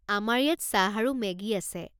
আমাৰ ইয়াত চাহ আৰু মেগী আছে।